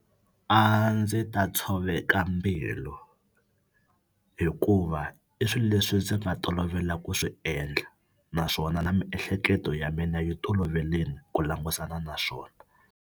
A ndzi ta tshoveka mbilu hikuva i swilo leswi ndzi nga tolovela ku swi endla naswona na miehleketo ya mina yi toloverile ku langutana na swona.